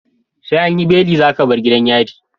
SE anyi beli zaka bar gidan yari